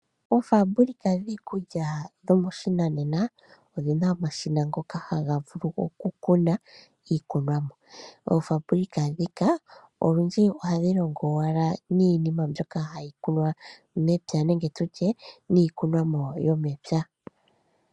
Oofabulika dhiikulya yopashinanena odhina omashina ngoka haga vulu okukuna iikunomwa. Oofabulika ndhika olundji ohadhi longo owala niinima mbyoka hayi kunwa mepya nenge iikunomwa yomepya.